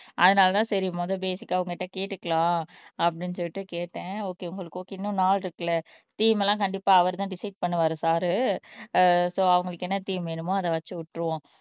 அதனாலதான் சரி முதல் பேசிக்க உன்கிட்ட கேட்டுக்கலாம் அப்படின்னு சொல்லிட்டு கேட்டேன் ஓகே உங்களுக்கு ஓகே நாள் இருக்குல்ல தீம் எல்லாம் கண்டிப்பா அவர்தான் டிசைட் பண்ணுவாரு சார் அஹ் சோ அவங்களுக்கு என்ன தீம் வேணுமோ அதை வச்சு விட்டுருவோம்